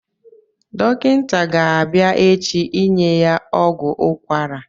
Dọkịta ga-abịa echi inye ya ọgwụ ukwara